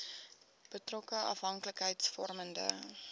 betrokke afhanklikheids vormende